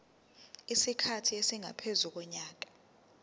isikhathi esingaphezu konyaka